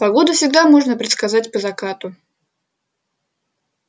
погоду всегда можно предсказать по закату